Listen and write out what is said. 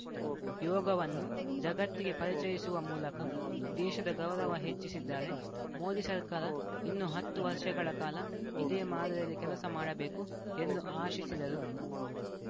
ಯೋಗವನ್ನು ಜಗತ್ತಿಗೆ ಪರಿಚಿಯಿಸುವ ಮೂಲಕ ದೇಶದ ಗೌರವ ಹೆಚ್ಚಿಸಿದ್ದಾರೆ ಮೋದಿ ಸರ್ಕಾರ ಇನ್ನು ಹತ್ತು ವರ್ಷಗಳ ಕಾಲ ಇದೇ ಮಾದರಿಯಲ್ಲಿ ಕೆಲಸ ಮಾಡಬೇಕು ಎಂದು ಆಶಿಸಿದರು